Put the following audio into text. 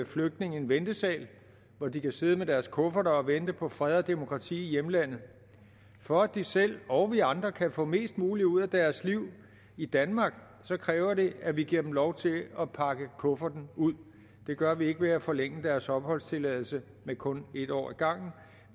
flygtninge en ventesal hvor de kan sidde med deres kufferter og vente på fred og demokrati i hjemlandet for at de selv og vi andre kan få mest muligt ud af deres liv i danmark kræves det at vi giver dem lov til at pakke kufferten ud det gør vi ikke ved at forlænge deres opholdstilladelse med kun en år ad gangen